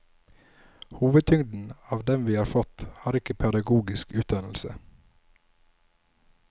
Hovedtyngden av dem vi har fått, har ikke pedagogisk utdannelse.